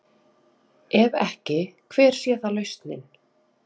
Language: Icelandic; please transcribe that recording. Ef ekki, hver sé þá lausnin?